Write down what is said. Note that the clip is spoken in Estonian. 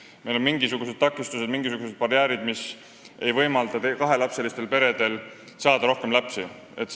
Ehk meil on mingisugused takistused, barjäärid, mis ei võimalda kahelapselistel peredel rohkem lapsi saada.